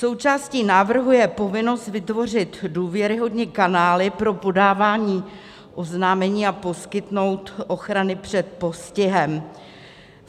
Součástí návrhu je povinnost vytvořit důvěryhodné kanály pro podávání oznámení a poskytnout ochranu před postihem.